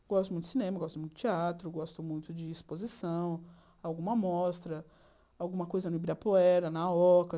Gosto muito de cinema, gosto muito de teatro, gosto muito de exposição, alguma mostra, alguma coisa no Ibirapuera, na Oca.